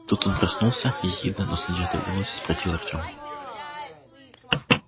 тут он проснулся ехидно но с надеждой в голосе спросил артём